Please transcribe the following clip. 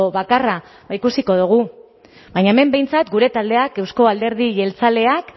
bakarra ba ikusiko dugu baina hemen behintzat gure taldeak euzko alderdi jeltzaleak